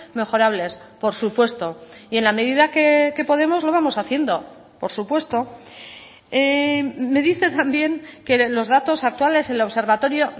mejorables por supuesto y en la medida que podemos lo vamos haciendo por supuesto me dice también que los datos actuales el observatorio